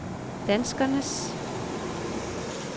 danskernes